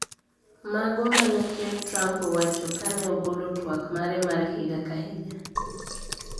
Mago ma ne ker Trump owacho ka ne ogolo twak mare mar higa ka higa